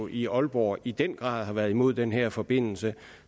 i aalborg jo i den grad har været imod den her forbindelse